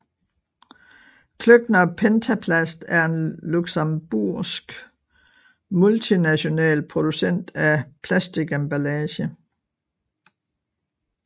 Klöckner Pentaplast er en luxembourgsk multinational producent af plastikemballage